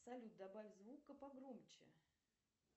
салют добавь звука погромче